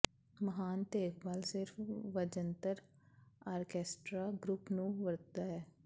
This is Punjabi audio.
ਮਹਾਨ ਦੇਖਭਾਲ ਸਿਰਫ ਵਜੰਤਰ ਆਰਕੈਸਟਰਾ ਗਰੁੱਪ ਨੂੰ ਵਰਤਦਾ ਹੈ